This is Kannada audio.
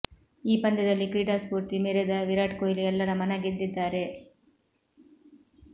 ಈ ಪಂದ್ಯದಲ್ಲಿ ಕ್ರೀಡಾ ಸ್ಫೂರ್ತಿ ಮೆರೆದ ವಿರಾಟ್ ಕೊಹ್ಲಿ ಎಲ್ಲರ ಮನಗೆದ್ದಿದ್ದಾರೆ